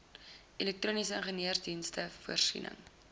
elektroniese ingenieursdienste voorsiening